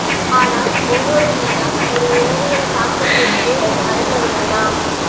ஆனால் ஒவ்வொரு நிறம் ஒரு உளவியல் தாக்கத்திற்கு மறக்க வேண்டாம்